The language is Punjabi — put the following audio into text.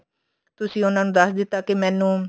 ਤੁਸੀਂ ਉਹਨਾ ਨੂੰ ਦੱਸ ਦਿੱਤਾ ਕੇ ਮੈਨੂੰ